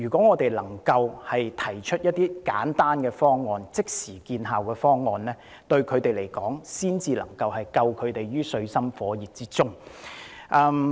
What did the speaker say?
我們必須提出一些簡單、即時見效的方案，才能夠把他們拯救於水深火熱之中。